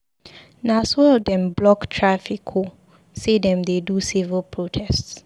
Na so dem block traffic o sey dem dey do civil protest.